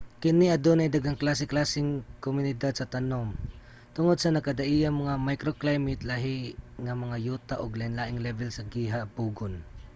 kini adunay daghang klase-klaseng mga komunidad sa tanum tungod sa nagkadaiyang mga microclimate lahi nga mga yuta ug lainlaing lebel sa gihabugon